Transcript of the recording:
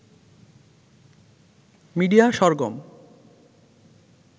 media Sargam